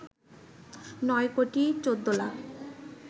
৯ কোটি ১৪ লাখ